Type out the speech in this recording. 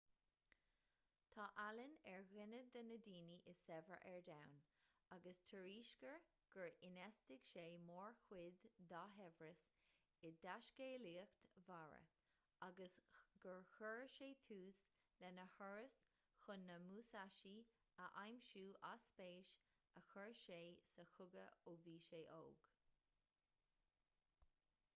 tá allen ar dhuine de na daoine is saibhre ar domhan agus tuairiscítear gur infheistigh sé mórchuid dá shaibhreas i dtaiscéalaíocht mhara agus gur chuir sé tús lena thuras chun na musashi a aimsiú as spéis a chuir sé sa chogadh ó bhí sé óg